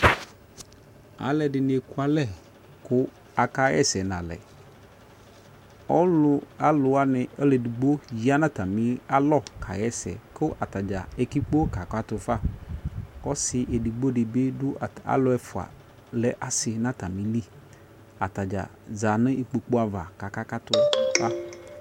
alɛdini ekualɛ ku akaiyɛsɛ nalɛ ɔlu aluwani aluɛ edigbo yanu ɔtamialɔ kayɛsɛ ku ataja ekikpo kakatufa ku ɔsi edigbodibi du alu ɛfua lɛ asi na atamili ataja za nu ikpoku ava kakakatu fa